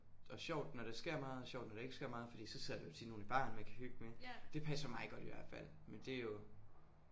Og sjovt når der sker meget og sjovt når der ikke sker meget fordi så sidder der jo tit nogen i baren man kan hygge med det passer mig godt i hvert fald men det er jo